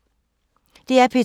DR P2